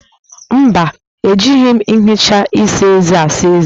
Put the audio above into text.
Mba, ejighi m nhicha eze saa eze